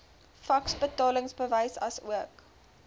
faks betalingsbewys asook